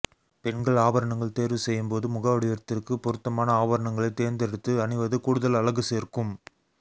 பெண்கள் ஆபரணங்கள் தேர்வு செய்யும் போது முக வடிவத்திற்கு பொருத்தமான ஆபரணங்களை தேர்ந்தெடுத்து அணிவது கூடுதல் அழகு சேர்க்கும்